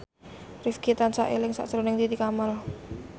Rifqi tansah eling sakjroning Titi Kamal